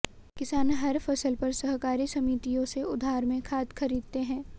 किसान हर फसल पर सहकारी समितियों से उधार में खाद खरीदते हैं